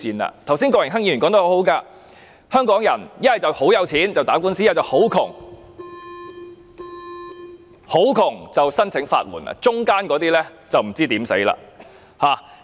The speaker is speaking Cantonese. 郭榮鏗議員剛才說得很好，香港人如果很有錢，便可以打官司，如果很貧窮，便可申請法援，而中產的便不知如何是好。